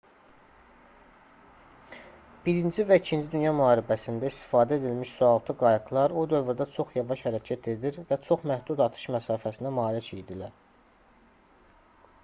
i və ii dünya müharibəsində istifadə edilmiş sualtı qayıqlar o dövrdə çox yavaş hərəkət edir və çox məhdud atış məsafəsinə malik idilər